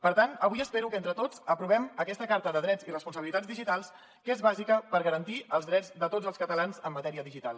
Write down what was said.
per tant avui espero que entre tots aprovem aquesta carta de drets i les responsabilitats digitals que és bàsica per garantir els drets de tots els catalans en matèria digital